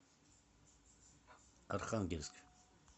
архангельск